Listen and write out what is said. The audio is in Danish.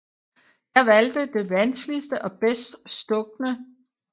Jeg valgte det vanskeligste og bedst stukne